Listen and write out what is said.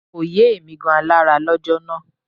Kò yé èmi gan alára lọ́jọ́ náà